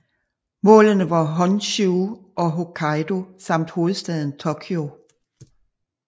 Målene var Honshū og Hokkaido samt hovedstaden Tokyo